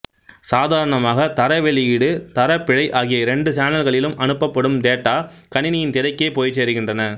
சாதாரணமாக தர வெளியீடு தர பிழை அகிய இரண்டு சானல்களிலும் அனுப்பப்படும் டேட்டா கணினியின் திரைக்கே போய்ச்சேருகின்றன